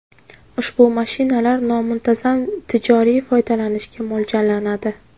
Ushbu mashinalar nomuntazam tijoriy foydalanishga mo‘ljallanadi.